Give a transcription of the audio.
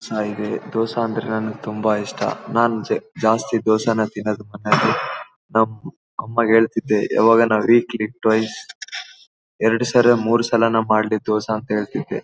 ಚೆನ್ನಾಗಿ ಇದೆ ದೋಸಾ ಅಂದ್ರೆ ನಂಗೆ ತುಂಬಾ ಇಷ್ಟ ನನ್ ಜ ಜಾಸ್ತಿ ದೋಸನೆ ತಿನ್ನೋದು ಮನೆಯಲ್ಲಿ ನಮ್ ಅಮ್ಮಂಗೆ ಹೇಳ್ತಿದ್ದೆ ಯಾವಗಾನ ವೀಕ್ಲಿ ಟ್ವೈಸ್ ಎರಡು ಸರಿ ಮೂರೂ ಸಲನು ಮಾಡಿ ದೋಸಾ ಅಂತ ಹೇಳ್ತಿದ್ದೆ.